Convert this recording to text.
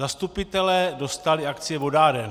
Zastupitelé dostali akcie vodáren.